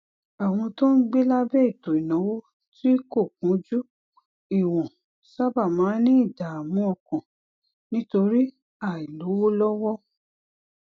àwọn tó ń gbé lábé ètò ìnáwó tí kò kúnjú ìwòn sábà máa ń ní ìdààmú ọkàn nítorí àìlówó lówó